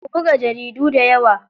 Ku buga jaridu dayawa.